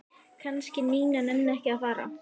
Kannski Nína nenni ekki að fara.